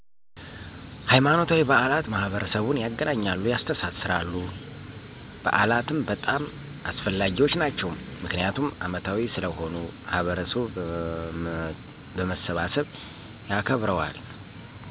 ሀይማኖታዊ በዓላት ማህበረሰቡን ያገናኛሉ፣ ያስተሳስራሉ። በዓላትም በጣም አስፈላጊዎች ናቸው ምክንያቱም አመታዊ ስለሆኑ ማህበረሰቡ በመሰብሰብ ያከብረዋል።